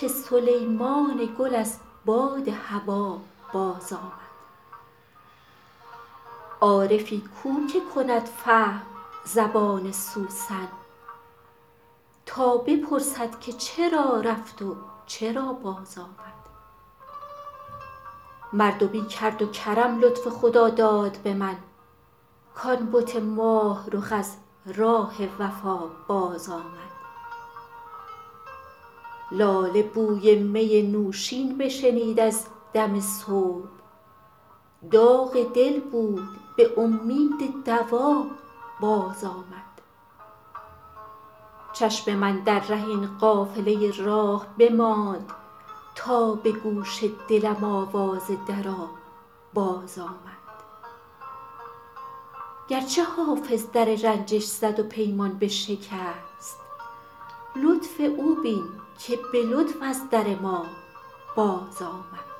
که سلیمان گل از باد هوا بازآمد عارفی کو که کند فهم زبان سوسن تا بپرسد که چرا رفت و چرا بازآمد مردمی کرد و کرم لطف خداداد به من کـ آن بت ماه رخ از راه وفا بازآمد لاله بوی می نوشین بشنید از دم صبح داغ دل بود به امید دوا بازآمد چشم من در ره این قافله راه بماند تا به گوش دلم آواز درا بازآمد گرچه حافظ در رنجش زد و پیمان بشکست لطف او بین که به لطف از در ما بازآمد